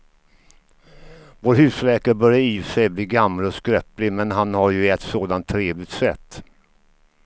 Vår husläkare börjar i och för sig bli gammal och skröplig, men han har ju ett sådant trevligt sätt!